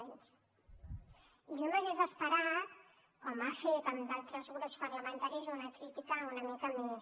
i jo m’hauria esperat com ha fet amb d’altres grups parlamentaris una crítica una mica més